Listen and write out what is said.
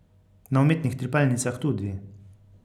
Na umetnih trepalnicah tudi.